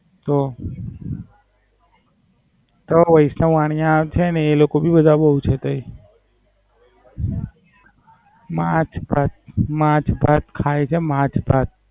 તો, તો વૈષ્ણવ વાણીયા છે ને એ બધા બોવ છે તે. માંછ-ભાત માંછ-ભાત ખાય છે માંછ-ભાત.